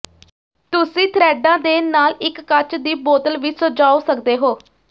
ਤੁਸੀਂ ਥ੍ਰੈਡਾਂ ਦੇ ਨਾਲ ਇੱਕ ਕੱਚ ਦੀ ਬੋਤਲ ਵੀ ਸਜਾਉਂ ਸਕਦੇ ਹੋ